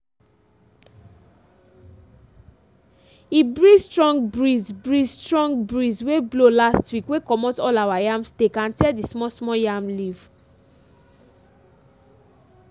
e breeze strong breeze breeze strong breeze wey blow last week wey comot all our yam stake and tear the small small yam leaf.